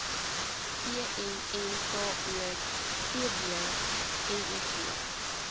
vmnko tb miv